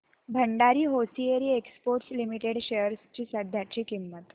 Bhandari hosiery exports limited shares ची सध्याची किंमत